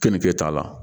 Kɛnikɛ t'a la